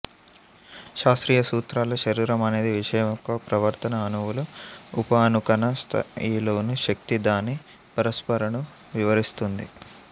శాస్త్రీయ సూత్రాల శరీరం అనేది విషయం యెుక్క ప్రవర్తన అణువులు ఉపఅణుకణ స్ధాయిలోని శక్తి దాని పరస్పరను వివరిస్తుంది